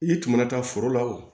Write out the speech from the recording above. I tun mana taa foro la o